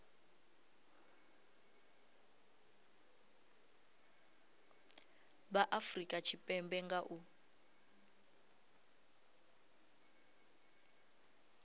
vha afurika tshipembe nga u